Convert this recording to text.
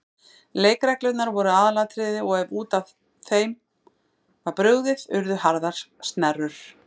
Leikreglurnar voru aðalatriði og ef út af þeim var brugðið urðu harðar snerrur.